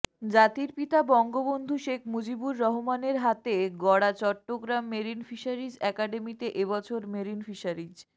জাতির পিতা বঙ্গবন্ধু শেখ মুজিবুর রহমানের হাতে গড়া চট্টগ্রাম মেরিন ফিশারিজ একাডেমিতে এবছর মেরিন ফিশারিজ